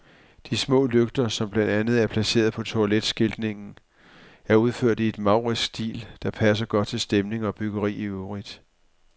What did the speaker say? De små lygter, som blandt andet er placeret på toiletskiltningen, er udført i en maurisk stil, der passer godt til stemning og byggeri i øvrigt.